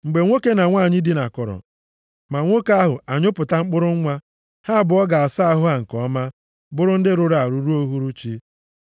Mgbe nwoke na nwanyị dinakọrọ, ma nwoke ahụ anyụpụta mkpụrụ nwa, ha abụọ ga-asa ahụ ha nke ọma, bụrụ ndị rụrụ arụ ruo uhuruchi.